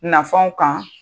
Nafanw kan